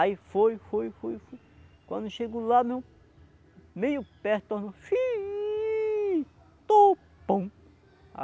Aí foi, foi, foi, foi... Quando chegou lá, meu... Meio perto, tornou